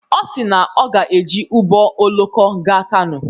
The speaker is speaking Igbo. Ọ si na ọ ga-eji ụgbọ oloko gaa Kano.